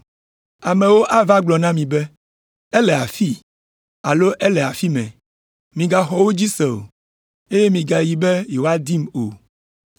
Amewo ava gblɔ na mi be, ‘Ele afii!’ alo ‘Ele afi mɛ!’ Migaxɔ wo dzi se o, eye migayi be yewoadim o.